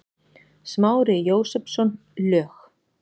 Smári Jósepsson, lög